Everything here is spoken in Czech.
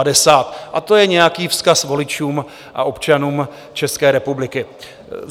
A to je nějaký vzkaz voličům s občanům České republiky.